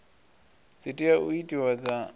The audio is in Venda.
dzi tea u itiwa dza